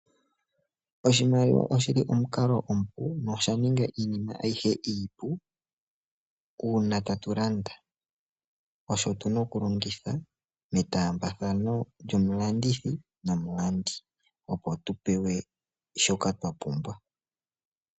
Oshimaliwa oshi li omukalo omupu, nosha ninga iinima ayihe iipu. Uuna tatu landa osho tu na okulongitha, metaambathano lyomulandithi nomulandi, opo tu pewe shoka twa pumbwa.